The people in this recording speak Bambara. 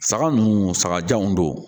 Saga ninnu saga janw don